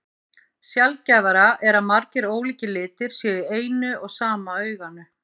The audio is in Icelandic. Sjaldgæfara er að margir ólíkir litir séu í eina og sama auganu.